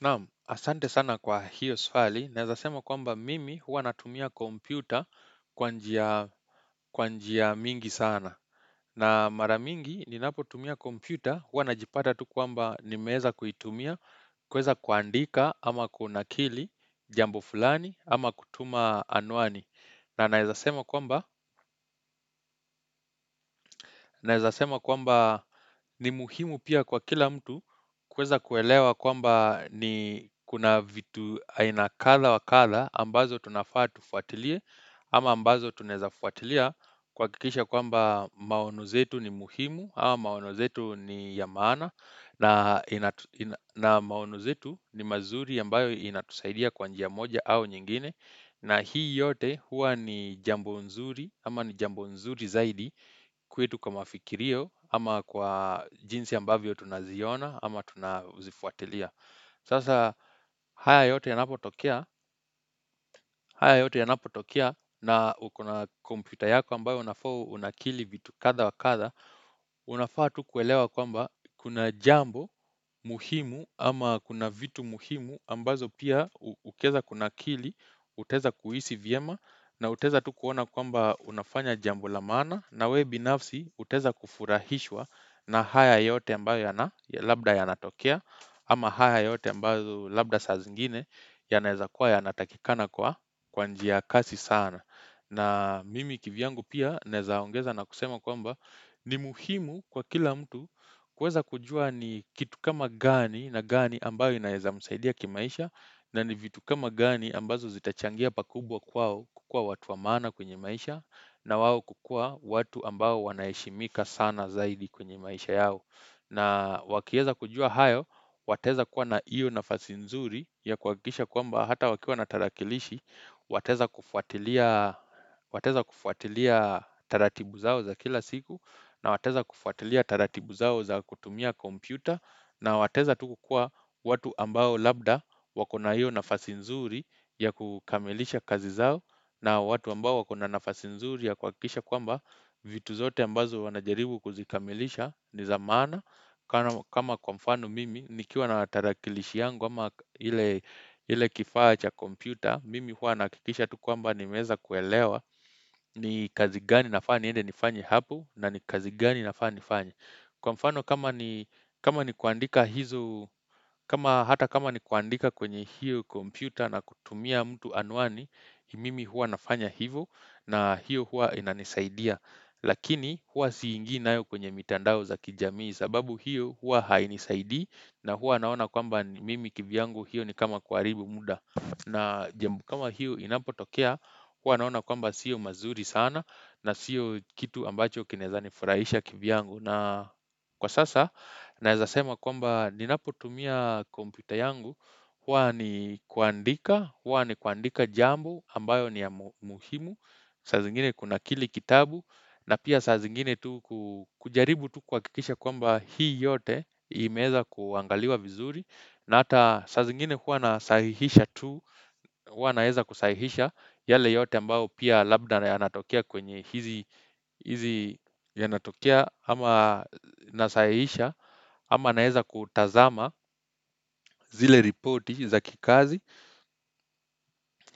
Nam, asante sana kwa hiyo sfali. Naezasema kwamba mimi huwa natumia kompyuta kwa njia kwanjia mingi sana. Na maramingi ni napo tumia kompyuta huwa najipata tu kwamba nimeeza kuitumia, kueza kuandika ama kuna kili, jambo fulani ama kutuma anwani. Na naezasema kwamba naezasema kwamba ni muhimu pia kwa kila mtu kueza kuelewa kwamba ni kuna vitu ainakatha wakatha ambazo tunafaa tufuatilie ama ambazo tunaezafuatilia kuakikisha kwamba maono zetu ni muhimu ao maono zetu ni ya maana na inatu ina na maonuzetu ni mazuri ambayo inatusaidia kwa njia moja au nyingine. Na hii yote huwa ni jambo nzuri, ama ni jambo nzuri zaidi kwetu kwa mafikirio, ama kwa jinsi ambavyo tunaziona, ama tunazifuatilia. Sasa haya yote yanapo tokea, haya yote yanapo tokea, na ukona kompyuta yako ambayo unafaa unakili vitu katha wa katha, Unafaa tu kuelewa kwamba kuna jambo muhimu ama kuna vitu muhimu ambazo pia ukieza kuna kili, utaeza kuhisi vyema na utaeza tu kuona kwamba unafanya jambo la maana na we binafsi, utaeza kufurahishwa na haya yote ambao ya na Labda ya natokea ama haya yote ambazo labda saa zingine yanaeza kuwa ya natakikana kwa kwanjia ya kasi sana na mimi kivyangu pia naezaongeza na kusema kwamba ni muhimu kwa kila mtu kueza kujua ni kitu kama gani na gani ambayo inaeza msaidia kimaisha na ni vitu kama gani ambazo zitachangia pakubwa kwao kukuwa watu wa maana kwenye maisha na wao kukuwa watu ambao wanaeshimika sana zaidi kwenye maisha yao na wakieza kujua hayo, wataeza kuwa na iyo nafasi nzuri ya kua kisha kwa mba hata wakiwa na tarakilishi Wataeza kufuatilia wataeza kufuatilia taratibu zao za kila siku na wataeza kufuatilia taratibu zao za kutumia kompyuta na wataeza tukukuwa watu ambao labda wakona hiyo nafasi nzuri ya kukamilisha kazi zao na watu ambao wakona nafasi nzuri ya kuakisha kwamba vitu zote ambazo wanajiribu kuzikamilisha ni za maana kama kwamfano mimi nikiwa na tarakilishi yangu ama ile ile kifaa cha kompyuta mimi hua naakikisha tukwamba ni meeza kuelewa ni kazi gani nafaa niende nifanye hapo na ni kazi gani inafaa nifanye Kwa mfano kama ni kama ni kuandika hizo kama hata kama ni kuandika kwenye hio kompyuta na kutumia mtu anwani Mimi hua nafanya hivo na hio hua inanisaidia Lakini hua siingi nayo kwenye mitandao za kijamii sababu hio hua hainisaidi na hua naona kwamba mimi kivyangu hiyo ni kama kuaribu muda na jambu kama hiyo inapo tokea, hua naona kwamba sio mazuri sana na sio kitu ambacho kinaeza nifurahisha kivyangu. Na kwa sasa, naezasema kwamba ninapo tumia kompyuta yangu, hua ni kuandika, hua ni kuandika jambo ambayo ni ya mu muhimu. Sazingine kunakili kitabu, na pia sazingine tu ku kujaribu tu kuakikisha kwamba hii yote imeeza kuangaliwa vizuri. Na ata sa zingine huwa nasahihisha tu, uwa naeza kusahihisha yale yote ambao pia labda na ya natokea kwenye hizi hizi ya natokea ama nasahihisha ama naeza kutazama zile reporti za kikazi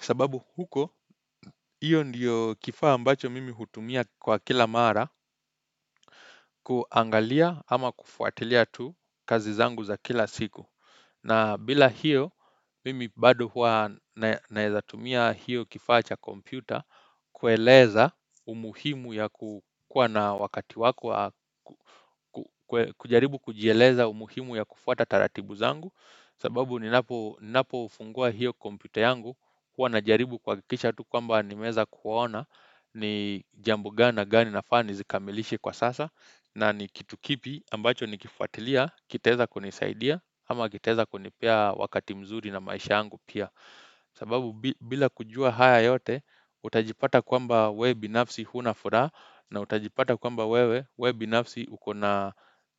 sababu huko hiyo ndiyo kifaa ambacho mimi hutumia kwa kila mara kuangalia ama kufuatilia tu kazi zangu za kila siku. Na bila hio, mimi bado huwa nae naezatumia hiyo kifaa cha kompyuta, kueleza umuhimu ya ku kuwa na wakati wako, wa ku kujaribu kujieleza umuhimu ya kufuata taratibu zangu, sababu ni napo ninapo fungua hiyo kompyuta yangu, huwa najaribu kuakikisha tu kwamba nimeeza kuona ni jambo gani na gani nafaa nizikamilishe kwa sasa, na ni kitu kipi ambacho ni kifuatilia, kitaeza kunisaidia, ama kitaeza kunip Pea wakati mzuri na maisha yangu pia. Sababu bi bila kujua haya yote, utajipata kwamba we binafsi huna furaa. Na utajipata kwamba wewe, we binafsi ukona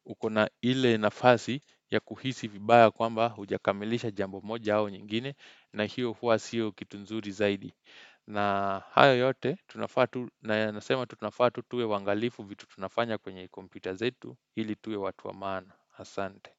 ukona ile nafasi ya kuhisi vibaya kwamba hujakamilisha jambo moja au nyingine. Na hio hua sio kitu nzuri zaidi. Na hayo yote, tunafa tu na nasema tu tunafaa tu tuwe waangalifu vitu tunafanya kwenye kompyuta zetu. Ili tuwe watu wa maana. Hasante.